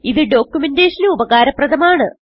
ഇത് ഡോക്യുമെന്റേഷൻ ന് ഉപകാരപ്രദമാണ്